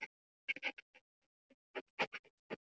Það er eins og hvíldin liggi í loftinu.